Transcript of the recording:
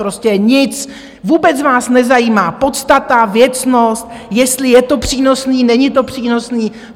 Prostě nic, vůbec vás nezajímá podstata, věcnost, jestli je to přínosné, není to přínosné.